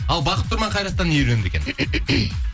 ал бақыт тұман қайраттан не үйренді екен